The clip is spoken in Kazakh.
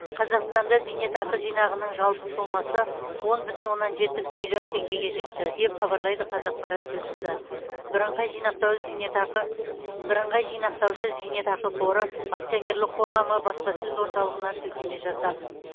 қазақстанда зейнетақы жинағының жалпы сомасы он бүтін оннан жеті триллион теңгеге жетті деп хабарлайды қазақпарат тілшісі бірыңғай жинақтаушы зейнетақы бірыңғай жинақтаушы зейнетақы қоры акционерлік қоғамы баспасөз орталығына сілтеме жасап